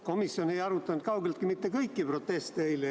Komisjon ei arutanud kaugeltki mitte kõiki proteste eile.